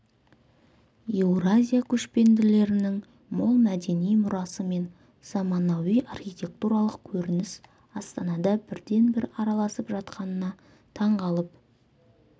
еуразия көшпенділерінің мол мәдени мұрасы мен замануи архитектуралық көрініс астанада бірден-бір аралысып жатқанына таң қалып